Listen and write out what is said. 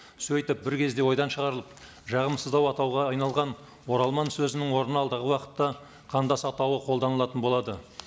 сөйтіп бір кезде ойдан шығарылып жағымсыздау атауға айналған оралман сөзінің орнына алдағы уақытта қандас атауы қолданылатын болады